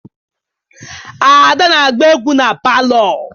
Ada na-agba egwu na palọ.